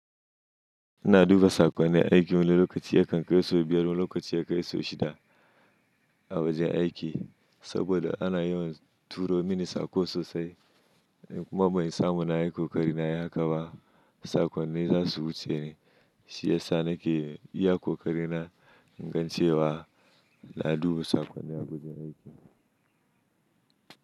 Ina duba sakonni aiki wani lokaci yakan kai sau biyar, wani lokaci ya kai sau shida a wajen aiki saboda ana yin turo mini sako sosai. Kuma ban samu na yi kokari na yi haka ba, sakonni za su wuce ni shiyasa nake iya ƙoƙari ingan ce wa na duba sakonni a wajen aiki.